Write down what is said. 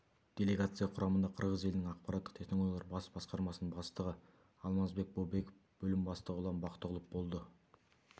делегация құрамында қырғыз елінің ақпараттық технологиялар бас басқармасының бастығы алмазбек бообеков бөлім бастығы ұлан бақтығұлов болды